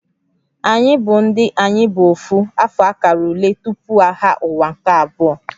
Anyị bụ ndị "Ayi bu Ofu" afọ akara ule tupu Agha Ụwa nke Abụọ"